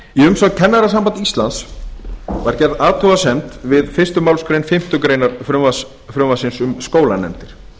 umsögn kennarasambands íslands var gerð athugasemd við fyrstu málsgrein fimmtu grein frumvarpsins um skólanefndir